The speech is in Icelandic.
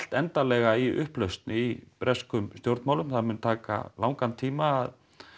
endanlega í upplausn í breskum stjórnmálum það mun taka langan tíma